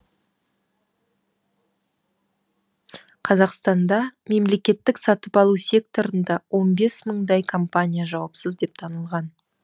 қазақстанда мемлекеттік сатып алу секторында он бес мыңдай компания жауапсыз деп танылған